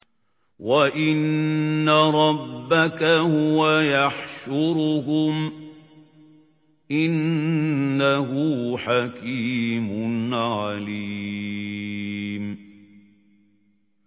وَإِنَّ رَبَّكَ هُوَ يَحْشُرُهُمْ ۚ إِنَّهُ حَكِيمٌ عَلِيمٌ